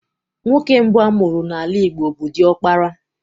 Nwoke mbụ amụrụ n'ala Igbo bụ diọkpara